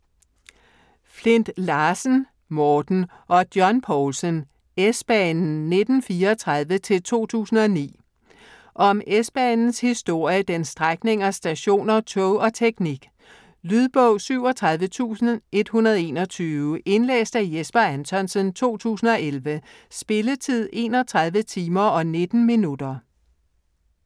Flindt Larsen, Morten og John Poulsen: S-banen 1934-2009 Om S-banens historie, dens strækninger, stationer, tog og teknik. Lydbog 37121 Indlæst af Jesper Anthonsen, 2011. Spilletid: 31 timer, 19 minutter.